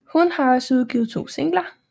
Hun har også udgivet to singler